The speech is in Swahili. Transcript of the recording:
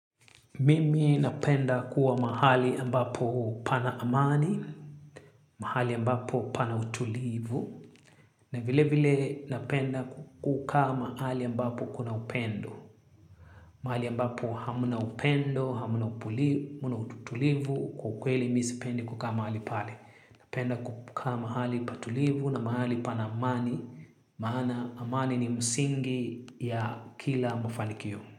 Mimi napenda kuwa mahali ambapo pana amani, mahali ambapo pana utulivu, na vile vile napenda kukaa mahali ambapo kuna upendo. Mahali ambapo hamna upendo, hamna utulivu, kwa kweli mimi sipendi kukaa mahali pale. Napenda kukaa mahali patulivu na mahali pana amani maana amani ni msingi ya kila mafanikio.